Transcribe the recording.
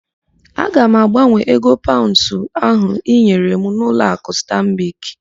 Aga m agbanwee ego paụnds ahụ ị nyere m n'ụlọakụ Stanbik.